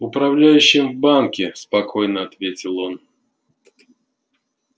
управляющим в банке спокойно ответил он